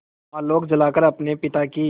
आलोक जलाकर अपने पिता की